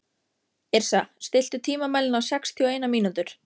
Yrsa, stilltu tímamælinn á sextíu og eina mínútur.